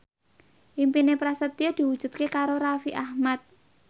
impine Prasetyo diwujudke karo Raffi Ahmad